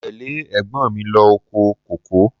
Mo tẹ́lẹ̀ ẹ̀gbọ́n mi lọ oko kòkó.